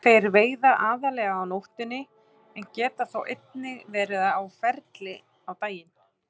Þeir veiða aðallega á nóttunni en geta þó einnig verið á ferli á daginn.